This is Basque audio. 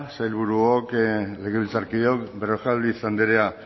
sailburuok legebiltzarkideok berrojalbiz andrea